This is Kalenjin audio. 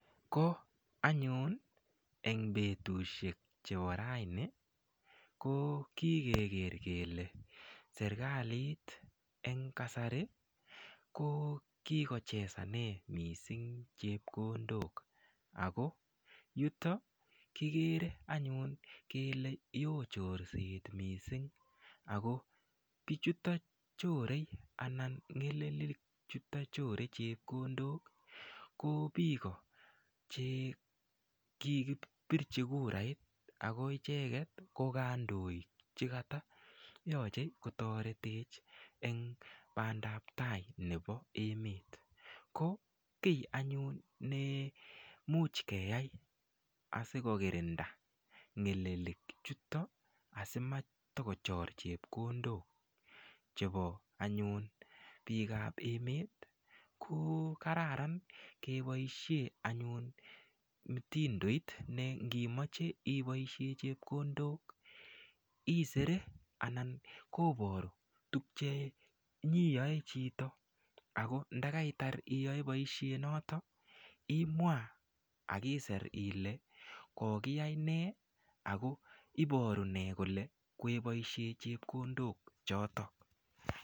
Ko anyun eng betushek chebo raini ko kikeker kele serikalit eng kasari ko kikochesane mising chepkondok ako yuto kikere anyun kele yoo chorset missing ako biichuto chore anan ngelelik chuto chore chepkondok ko biko chekikipirchi kurait ako icheket ko kandoik chekata yochei kotoretech eng bandaptai nebo emet ko kiy anyun ne much keyai asikokirinda ng'elelik chuto asimatokochor chepkondok chepo anyun biik ap emet ko kararan keboishe anyun mtindoit ne ngimoche iboishe chepkondok isere anan kiporu tukche nyiyoe chito ako ndakaitar chito iyoe boishet noto imwa akiser ile kokiyai ne ako iboru ne kole kweboishe chepkondok chotok.